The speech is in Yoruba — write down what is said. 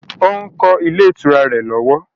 Ó ń kọ́ ilé ìtura rẹ̀ lọ́wọ́